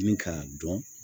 Ni k'a dɔn